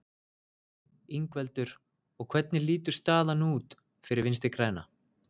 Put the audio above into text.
Ingveldur: Og hvernig lítur staðan út fyrir Vinstri-græna?